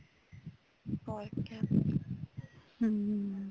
ਹਮ